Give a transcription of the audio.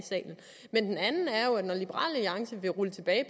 når liberal alliance vil rulle tilbage i